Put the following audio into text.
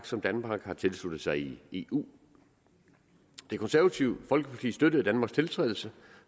som danmark har tilsluttet sig i eu det konservative folkeparti støttede danmarks tiltrædelse